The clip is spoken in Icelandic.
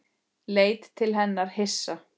Leit til hennar hissa.